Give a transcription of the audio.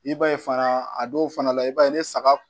I b'a ye fana a dɔw fana la i b'a ye ni saga